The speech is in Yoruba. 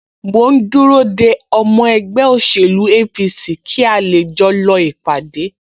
Mò ń dúró de ọmọ ẹgbẹ́ òṣèlú APC kí a lè jọ lọ ìpàdé